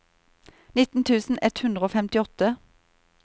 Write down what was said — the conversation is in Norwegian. nitti tusen ett hundre og femtiåtte